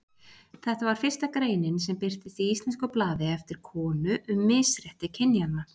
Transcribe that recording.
Þetta var fyrsta greinin sem birtist í íslensku blaði eftir konu um misrétti kynjanna.